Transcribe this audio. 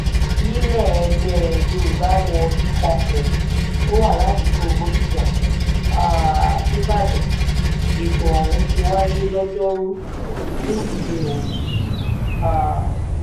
nílẹ̀-ẹgbẹ́ yorùbá world congress tó wà ládùúgbò bòdíjà um níìbàdàn lẹ̀tọ́ ọ̀hún ti wáyé lọ́jọ́rùú wísódèé òní um